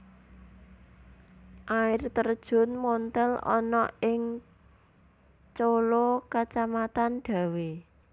Air Terjun Monthel ana ing Colo kacamatan Dawe